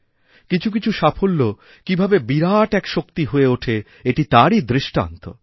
কিছু কিছু সাফল্য কীভাবে বিরাট এক শক্তি হয়েওঠে এটি তারই দৃষ্টান্ত